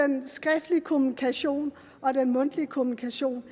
den skriftlige kommunikation og den mundtlige kommunikation